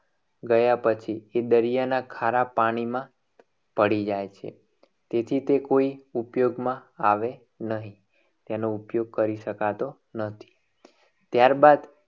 ગયા પછી એ દરિયાના ખારા પાણીમાં પડી જાય છે. જેથી તે કોઈ ઉપયોગમાં આવી નહીં. એનો ઉપયોગ કરી શકાતો નથી. ત્યારબાદ